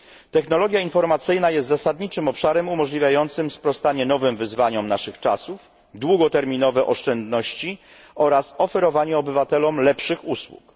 Technologia informacyjna jest zasadniczym obszarem umożliwiającym sprostanie nowym wyzwaniom naszych czasów, długoterminowe oszczędności oraz oferowanie obywatelom lepszych usług.